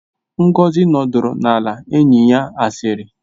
Ngozi nọdụrụ ala na enyi ya asịrị